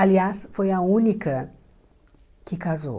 Aliás, foi a única que casou.